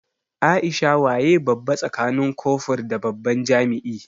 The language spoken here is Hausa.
Aisha waye babba tsakanin kofur da babban jami'i?